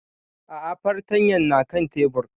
A'a fartanyan na kan tebur